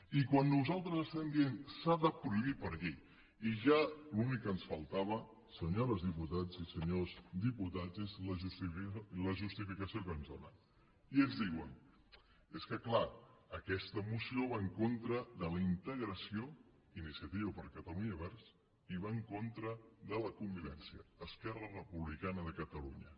i quan nosaltres estem dient s’ha de prohibir per llei i ja l’únic que ens faltava senyores diputades i senyors diputats és la justificació que ens donen i ens diuen és que clar aquesta moció va en contra de la integració iniciativa per catalunya verds i va en contra de la con vi vència esquerra republicana